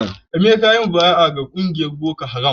Emeka yayi mubaya'a ga kungiyar boko haram